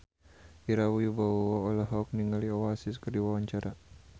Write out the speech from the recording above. Ira Wibowo olohok ningali Oasis keur diwawancara